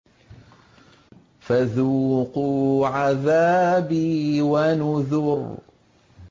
فَذُوقُوا عَذَابِي وَنُذُرِ